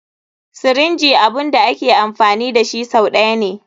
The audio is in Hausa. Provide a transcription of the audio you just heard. Sirinji abun da ake amfani dashi sau ɗaya ne.